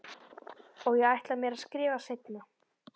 Og ég ætla mér að skrifa seinna.